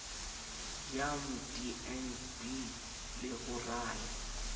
ya mdnb le ho rala